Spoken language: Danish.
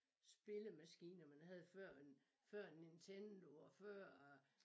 Spillemaskiner man havde før en før en Nintendo og før øh